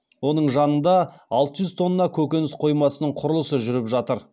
оның жанында алты жүз тонна көкөніс қоймасының құрылысы жүріп жатыр